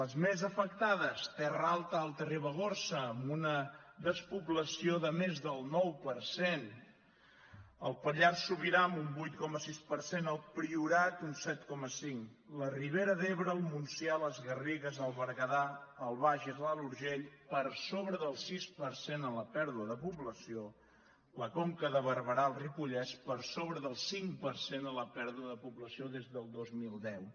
les més afectades terra alta alta ribagorça amb una despoblació de més del nou per cent el pallars sobirà amb un vuit coma sis per cent el priorat un set coma cinc la ribera d’ebre el montsià les garrigues el berguedà el bages l’alt urgell per sobre del sis per cent en la pèrdua de població la conca de barberà el ripollès per sobre del cinc per cent en la pèrdua de població des del dos mil deu